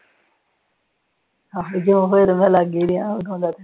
ਹੋਰੂੰ ਜਾ ਲੱਗ ਰਿਹਾ ਹੋਣਾ।